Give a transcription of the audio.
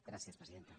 gràcies presidenta